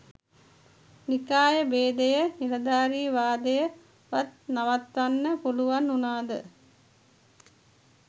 නිකාය බේදය නිලධාරි වාදය වත් නවත්වන්න පුලුවන් වුනාද?